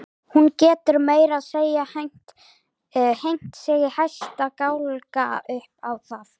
Hún getur meira að segja hengt sig í hæsta gálga upp á það.